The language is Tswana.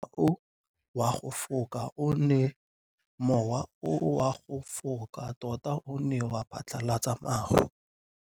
Mowa o wa go foka tota o ne wa phatlalatsa maru.